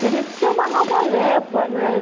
Teria que ser uma nova leva, né?